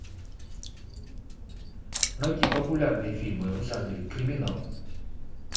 найти популярные фильмы в жанре криминал